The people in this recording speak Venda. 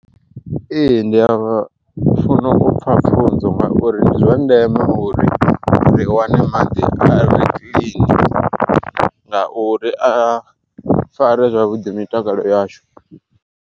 Ee ndi a vha funa upfa pfhunzo ngauri ndi zwa ndeme uri ri wane maḓi are kiḽini ngauri a fare zwavhuḓi mitakalo yashu.